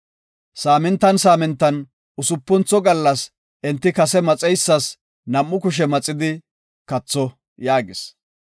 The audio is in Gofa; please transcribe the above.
Saamintan saamintan Usupuntho gallas enti kase maxeysas nam7u kushe maxidi katho” yaagis.